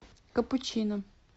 капучино